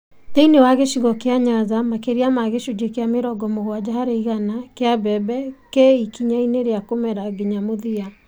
Thĩinĩ wa gĩcigo kĩa Nyanza, makĩria ma gĩcunjĩ kĩa mĩrongo mũgwaja harĩ igana kĩa mbembe kĩ ĩkinyainĩ rĩa kũmera nginya mũthia.